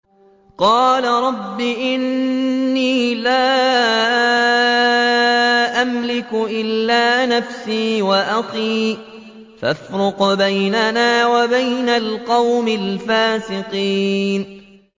قَالَ رَبِّ إِنِّي لَا أَمْلِكُ إِلَّا نَفْسِي وَأَخِي ۖ فَافْرُقْ بَيْنَنَا وَبَيْنَ الْقَوْمِ الْفَاسِقِينَ